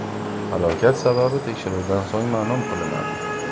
Halokat sababi tekshiruvdan so‘ng ma’lum qilinadi.